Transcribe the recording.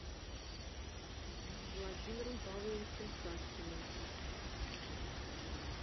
владимиром павловичем савкиным